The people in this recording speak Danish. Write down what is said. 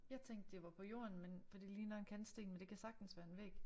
Jeg tænkte det var på jorden men for det ligner en kantsten men det kan sagtens være en væg